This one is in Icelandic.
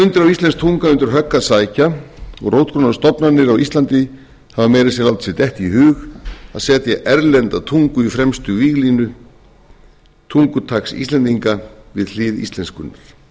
íslensk tunga undir högg að sækja og rótgrónar stofnanir á íslandi hafa meira að segja látið sér detta í hug að setja erlenda tungu í fremstu víglínu tungutaks íslendinga við hlið íslenskunnar við slíku verður að sporna af